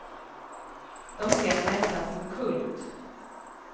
De ser mig nästan som kult.